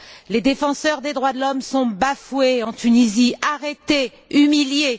Les défenseurs des droits de l'homme sont bafoués en Tunisie, arrêtés, humiliés.